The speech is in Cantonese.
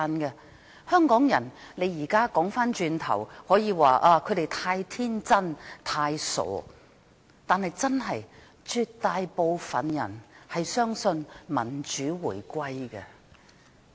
現在回顧過去，可以說香港人太天真、太傻，但絕大部分人真的相信民主回歸。